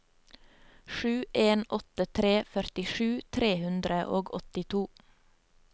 sju en åtte tre førtisju tre hundre og åttito